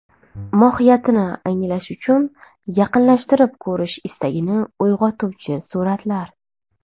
Mohiyatini anglash uchun yaqinlashtirib ko‘rish istagini uyg‘otuvchi suratlar.